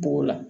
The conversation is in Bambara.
Bugu la